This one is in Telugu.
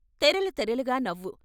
తెరలు తెరలుగా నవ్వు.